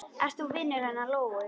Ert þú vinur hennar Lóu?